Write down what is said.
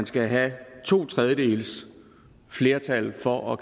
skal være to tredjedeles flertal for at